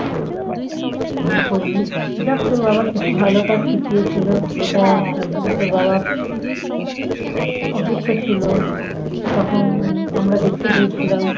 ভুল করবি যাক তোর বাবা কিছু ভালো কাজ শিখিয়েছিল যেটা একদিন তোর বাবা অসুস্থ ছিল তখন আমরা দেখতে গিয়েছিলাম